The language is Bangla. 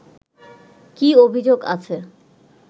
কী অভিযোগ আছে